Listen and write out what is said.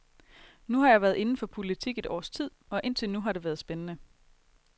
Nu har jeg været inden for politik et års tid, og indtil nu har det været spændende.